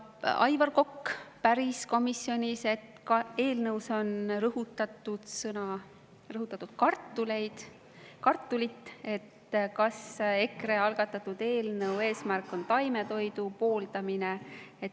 Aivar Kokk päris komisjonis, et eelnõus on rõhutatud kartulit ja kas EKRE algatatud eelnõu mõte on ka taimetoidu pooldamine.